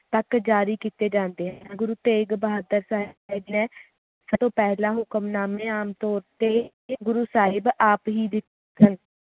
ਤਕ ਜਾਰੀ ਕੀਤੇ ਜਾਂਦੇ ਹਨ ਗੁਰੂ ਤੇਗ਼ ਬਹਾਦਰ ਸਾਹਿਬ ਜੀ ਨੇ ਤੋਂ ਪਹਿਲਾ ਹੁਕਮਨਾਮੇ ਆਮ ਤੌਰ ਤੇ ਗੁਰੂ ਸਾਹਿਬ ਆਪ ਹੀ ਲਿਖਦੇ ਸਨ